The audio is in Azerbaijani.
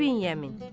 İbn Yəmin.